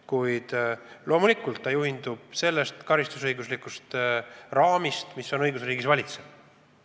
Kuid loomulikult ta juhindub sellest karistusõiguslikust raamist, mis õigusriigis kehtib.